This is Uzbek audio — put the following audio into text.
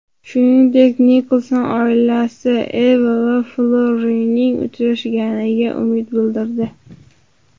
Shuningdek, Nikolson oilasi Eva va Florrining uchrashganiga umid bildirdi.